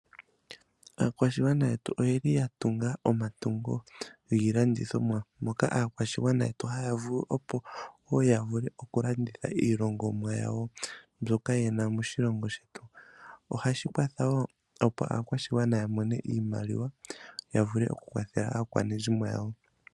Aakwashigwana yetu oyeli ya tunga omatungo giilandithomwa moka aakwashigwana yetu haya vulu opo woo yavule okulanditha iilongomwa yawo mbyoka yena moshilongo shetu. Ohashi kwatha woo opo aakwashigwana yamone iimaliwa yavule okukwatha aakwanezimo yawo .